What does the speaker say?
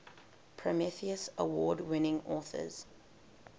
prometheus award winning authors